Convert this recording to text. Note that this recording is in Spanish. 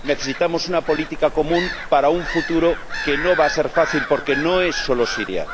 Necesitamos una política común para un futuro que no va a ser fácil, porque no es solo Siria